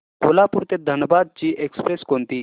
कोल्हापूर ते धनबाद ची एक्स्प्रेस कोणती